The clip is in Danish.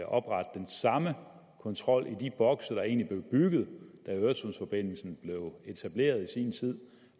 oprette den samme kontrol i de bokse der egentlig blev bygget da øresundsforbindelsen blev etableret i sin tid